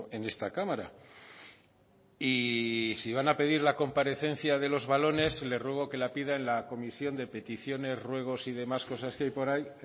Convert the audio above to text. en esta cámara y si van a pedir la comparecencia de los valones le ruego que la pida en la comisión de peticiones ruegos y demás cosas que hay por ahí